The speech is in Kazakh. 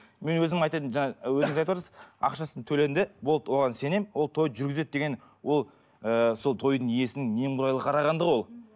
мен өзім айтайын жаңа өзіңіз айтып отырсыз ақшасы төленді болды оған сенемін ол тойды жүргізеді деген ол ыыы сол тойдың иесінің немқұрайлы қарағандығы ол